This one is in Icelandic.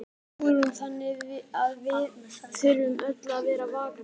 Hugrún: Þannig að við þurfum öll að vera vakandi?